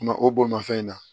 o bolimafɛn in na